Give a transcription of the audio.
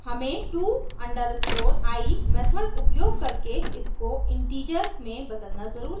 हमें to_i method उपयोग करके इसको इन्टिजर integer में बदलना ज़रूरी है